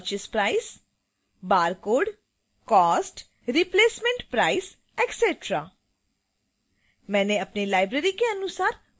cost normal purchase price